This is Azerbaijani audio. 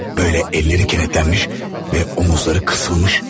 Belə əlləri kilidlənmiş və çiyinləri büzülmüş.